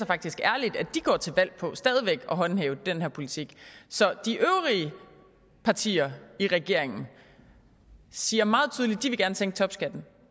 faktisk ærligt at de går til valg på stadig at håndhæve den her politik så de øvrige partier i regeringen siger meget tydeligt at sænke topskatten